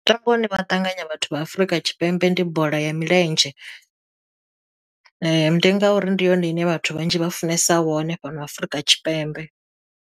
Mutambo une vha ṱanganya vhathu vha Afrika Tshipembe ndi bola ya milenzhe ndi nga ngauri ndi yone ine vhathu vhanzhi vha funesa wone fhano Afrika Tshipembe.